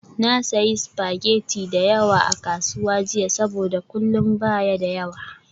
Na sayi spaghetti da yawa a kasuwa jiya saboda kullun ba ya da yawa.